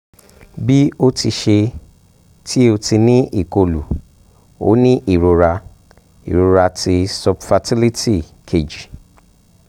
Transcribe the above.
bi o ti ṣe ti o ti ni ikolu o ni irora irora ti subfertility keji